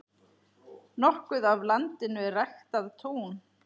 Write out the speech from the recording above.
Nokkuð af landinu er ræktað tún.